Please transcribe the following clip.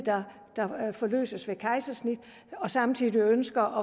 forløses ved kejsersnit og samtidig ønsker